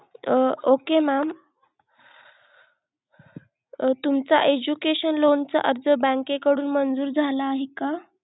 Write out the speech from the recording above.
Okay mam तुमचा education loan चा अर्ज bank के कडून मंजूर झाला आहे का?